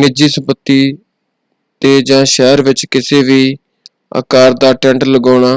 ਨਿੱਜੀ ਸੰਪਤੀ 'ਤੇ ਜਾਂ ਸ਼ਹਿਰ ਵਿੱਚ ਕਿਸੇ ਵੀ ਅਕਾਰ ਦਾ ਟੈਂਟ ਲਗਾਉਣਾ